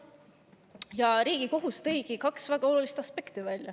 Ja Riigikohus tõigi välja kaks väga olulist aspekti.